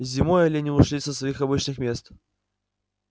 зимой олени ушли со своих обычных мест